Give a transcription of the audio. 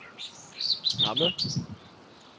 Hammel